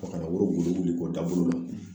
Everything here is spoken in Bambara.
ka na woro wuli kɔ dagolo la